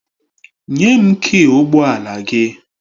Nye m kịị ụgbọ ala gị!